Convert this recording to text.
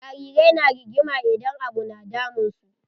Jarirai na rigima idan abu na damun su.